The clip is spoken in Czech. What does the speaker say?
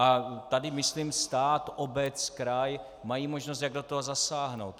A tady myslím stát, obec, kraj mají možnost, jak do toho zasáhnout.